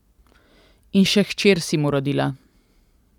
In še hčer si mu rodila.